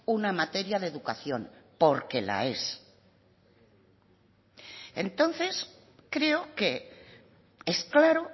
una materia de educación porque la es entonces creo que es claro